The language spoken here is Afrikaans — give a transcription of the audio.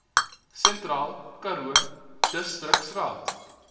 sentraal karoo distriksraad